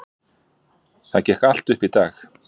Það gekk allt upp í dag.